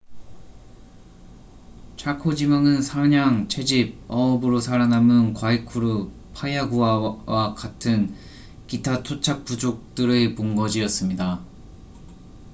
차코 지방은 사냥 채집 어업으로 살아남은 과이쿠루 파야구아 같은 기타 토착 부족들의 본거지였습니다